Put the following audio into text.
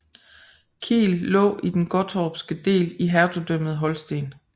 Kiel lå i den gottorpske del i Hertugdømmet Holsten